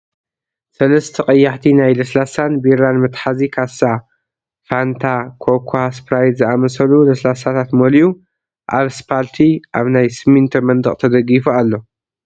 ሰለስተ ቀያሕቲ ናይ ለስላሳን ቢራን መትሓዚ ካሳ ፋንታ፣ ኮካ፣ ስፕራይት ዝኣመሰሉ ለስላሳታት መሊኡ ኣብ ስፓልቲ ኣብ ናይ ስሚንቶ መንደቅ ተደጊፉ ኣሎ፡፡